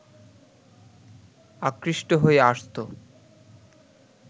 আকৃষ্ট হয়ে আসতো